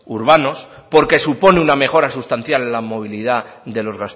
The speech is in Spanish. urbanos porque supone una mejora sustancial en la movilidad de los